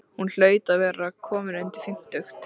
Hún hlaut að vera komin undir fimmtugt.